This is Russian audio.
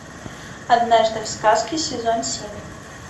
однажды в сказке сезон семь